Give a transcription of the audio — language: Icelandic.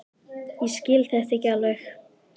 Ég skil þetta ekki alveg.